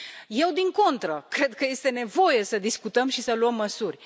Eu, din contră, cred că este nevoie să discutăm și să luăm măsuri.